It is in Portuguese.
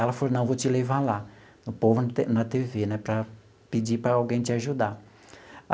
Ela falou, não, vou te levar lá, no Povo na na tê vê né, para pedir para alguém te ajudar.